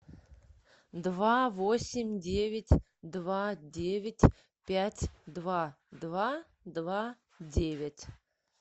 два восемь девять два девять пять два два два девять